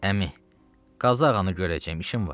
Əmi, Qazı ağanı görəcəm, işim var.